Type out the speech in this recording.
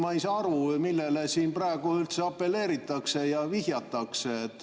Ma ei saa aru, millele siin praegu üldse apelleeritakse ja vihjatakse.